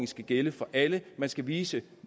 skal gælde for alle man skal vise